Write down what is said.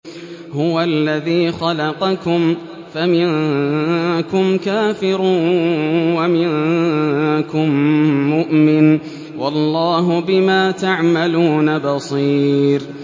هُوَ الَّذِي خَلَقَكُمْ فَمِنكُمْ كَافِرٌ وَمِنكُم مُّؤْمِنٌ ۚ وَاللَّهُ بِمَا تَعْمَلُونَ بَصِيرٌ